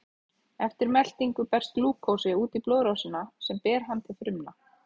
Eftir meltingu berst glúkósi út í blóðrásina sem ber hann til frumna.